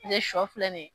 Tile sɔ filɛ nin ye